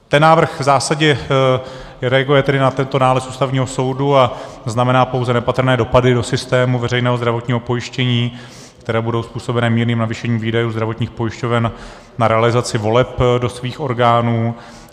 Ten návrh v zásadě reaguje tedy na tento nález Ústavního soudu a znamená pouze nepatrné dopady do systému veřejného zdravotního pojištění, které budou způsobené mírným navýšením výdajů zdravotních pojišťoven na realizaci voleb do svých orgánů.